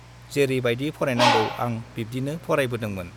जेरै बाइदि फरायनांगौ आं बिब्दिनो फरायबोदोंमोन ।